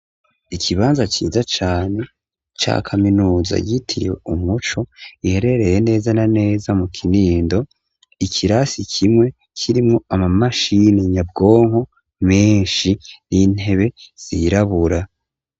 Ikibaza ciza cane, ca kaminuza yitiriwe umuco, iherereye, neza na neza, mu Kinindo; ikirasi kimwe, kirimwo amamashini nyabwonko, menshi, n'intebe zirabura.